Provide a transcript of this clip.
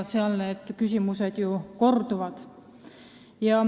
Seal need küsimused korduvad.